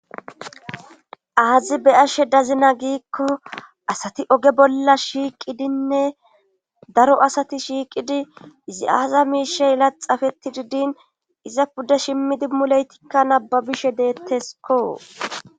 aazi be ashe dazina giikko asati oge bolla shiiqidinne daro asati shiiqidi izi7aaza miishe yela xafeti didin iza pudda shimmidi muleytikka nababishe deettesko